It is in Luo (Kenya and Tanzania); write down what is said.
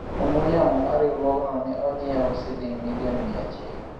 ong'we yamo mar riwruogno ne onyiewu siling milion mia achiel